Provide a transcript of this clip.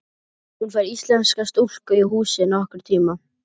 Hún fær íslenska stúlku í húsið nokkurn tíma.